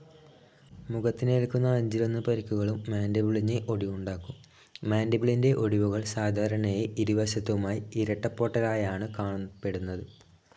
മുഖത്തിനേൽക്കുന്ന അഞ്ചിലൊന്ന് പരിക്കുകളും മാൻഡിബിളിന് ഒടിവുണ്ടാക്കും. മാൻഡിബിളിന്റെ ഒടിവുകൾ സാധാരണയായി ഇരുവശത്തുമായി ഇരട്ടപ്പൊട്ടലായാണ് കാണപ്പെടുന്നത്.